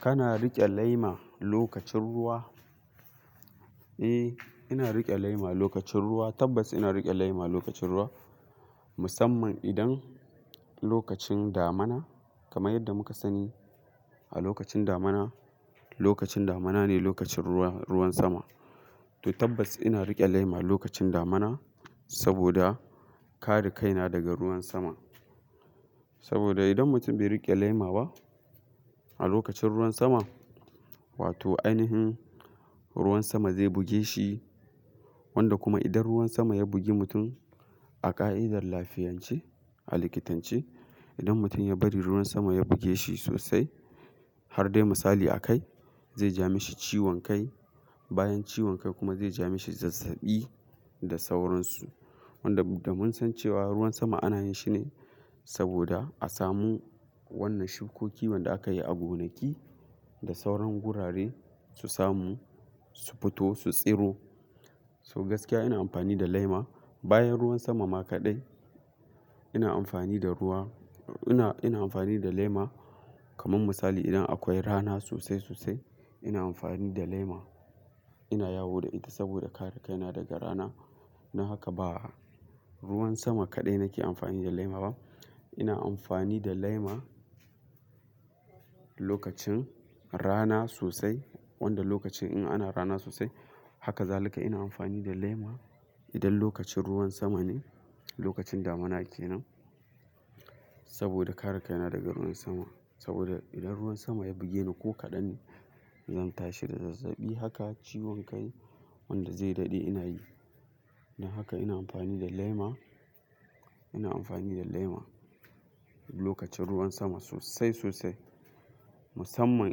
Kana riƙe laima lokacin ruwa? Eh, ina riƙe laima lokacin ruwa. Tabbas ina riƙe laima lokacin ruwa, musamman idan lokacin damuna, kamar yadda muka sani a lokacin damuna, lokacin damuna ne lokacin ruwa, ruwan sama. To tabbas ina riƙe lema lokacin damana saboda kare kaina daga ruwan sama. Saboda idan mutum bai riƙe lema ba a lokacin ruwan sama, wato ainihin ruwan sama zai buge shi, wanda kuma idan ruwan sama ya bugi mutum a ƙa'idar lafiyance, a likitance, idan mutum ya bari ruwan sama ya bugeshi sosai, harda misali a kai, zai ja mishi ciwon kai, bayan ciwon kai kuma zai ja mishi zazzaɓi da sauransu. Wanda da mun san cewa ruwan sama ana yin shine saboda a samu wannan shukoki wanda aka yi a gonaki da sauran gurare su samu, su fito, su tsiro. So gaskiya ina amfani da laima bayan ruwan sama ma kaɗai. Ina amfani da ruwa, ina, ina amfani da laima, kamar misali idan akwai rana sosai sosai ina amfani da laima. Ina yawo da ita saboda kare kaina daga rana. Na haka ba ruwan sama kaɗai nake amfani da laima ba. Ina amfani da laima lokacin rana sosai, wanda lokacin in ana rana sosai. Haka zalika ina amfani da laima idan lokacin ruwan sama ne, lokacin damuna kenan saboda kare kaina daga ruwan sama. Saboda idan ruwan sama ya bugeni ko kaɗanne, zan tashi da zazzaɓi haka ciwon kai wanda zai daɗe ina yi. Na haka ina amfani da laima, ina amfani da laima lokacin ruwan sama sosai sosai. Musamman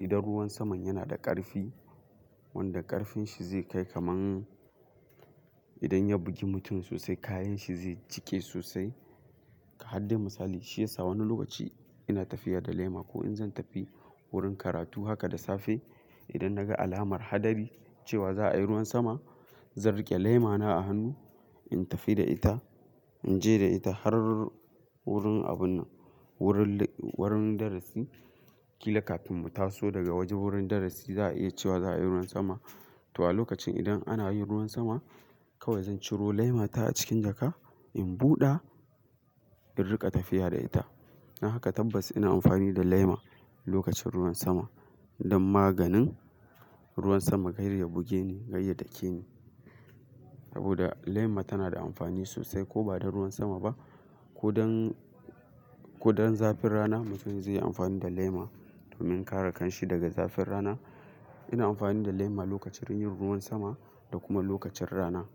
idan ruwan saman yana da ƙarfi, wanda ƙarfin shi zai kai kaman idan ya bugi mutum sosai kayan shi zai jike sosai. Ka haddai misali, shi yasa wani lokaci ina tafiya da laima ko in zan tafi wurin karatu haka da safe. Idan na ga alamar hadari cewa za a yi ruwan sama, zan riƙe laima na a hannu, in tafi da ita, in je da ita har wurin abun nan, wurin, wurin darasi. Kila kafin mu taso daga wajen wurin darasi za a iya cewa za a yi ruwan sama. To a lokacin idan ana yin ruwan sama, kawai zan ciro laima ta a cikin jaka, in buɗa, in riƙa tafiya da ita. Na haka tabbas ina amfani da laima lokacin ruwan sama don maganin ruwan sama kar y ya bugeni, gare shi ya dake ni. Saboda laima tana da amfani sosai ko ba don ruwan sama ba, ko don, ko don zafin rana mutum zai yi amfani da lema domin kare kanshi daga zafin rana. Ina amfani da lema lokacin yin ruwan sama da kuma lokacin rana.